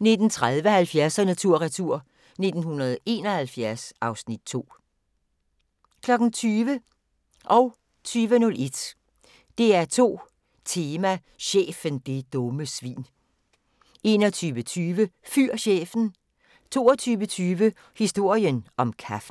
19:30: 70'erne tur retur: 1971 (Afs. 2) 20:00: DR2 Tema: Chefen, det dumme svin 20:01: DR2 Tema: Chefen, det dumme svin 21:20: Fyr chefen! 22:20: Historien om kaffen